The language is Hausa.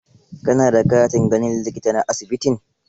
Ka na da katin ganin likita na asibitin?